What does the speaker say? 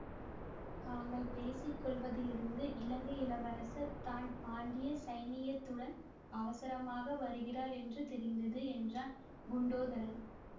தாங்கள் பேசி கொள்வதிலிருந்து இலங்கை இளவரசர் தான் பாண்டிய சைனியத்துடன் அவசரமாக வருகிறார் என்று தெரிந்தது என்றான் குண்டோ தரன்